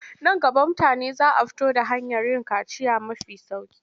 Nan gaba mutane za a fito da hanyar yin kaciya mafi sauƙi.